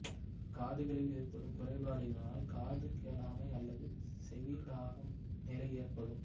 காதுகளில் ஏற்படும் குறைபாடுகளினால் காது கேளாமை அல்லது செவிடாகும் நிலை ஏற்படும்